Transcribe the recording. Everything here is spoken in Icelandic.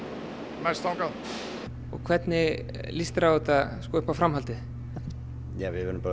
mest þangað hvernig líst þér á þetta upp á framhaldið ja við verðum bara